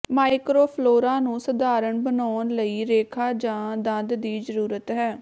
microflora ਨੂੰ ਸਧਾਰਣ ਬਣਾਉਣ ਲਈ ਰੇਖਾ ਜਾਂ ਦੰਦ ਦੀ ਜ਼ਰੂਰਤ ਹੈ